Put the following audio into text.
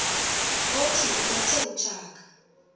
othi ubethe utshaka